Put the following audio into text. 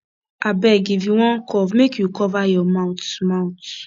abeg if you wan cough make you cover your mouth mouth